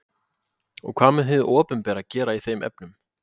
Og hvað mun þá hið opinbera gera í þeim efnum?